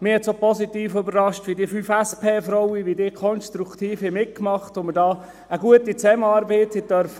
Mich hat auch positiv überrascht, wie die fünf SP-Frauen konstruktiv mitmachten und wir da eine gute Zusammenarbeit haben durften.